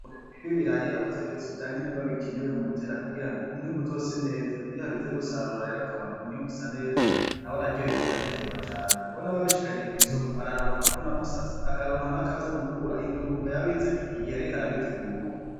Umurimyi w'ibaraya yakoze vyose vyankenerwa mu gutera kugirango umwimbu uzose neza, Iyo hageze gusarura rero akabona umwimbu usa neza nawe aryoherwa akanezerwa cane kuko nawe abishikanye kwi soko araronka akavuna mu sase akaronka nakozomukura indugumba yabize igihe yariko arabitegura.